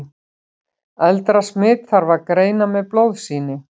eldra smit þarf að greina með blóðsýni